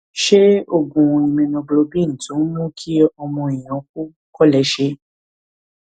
ṣé oògùn immunoglobulin tó ń mú kí ọmọ èèyàn kú kò lè ṣe é